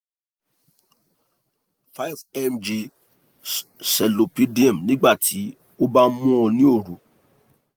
five mg xolpidem nígbà tí o bá ń mu ó ní òru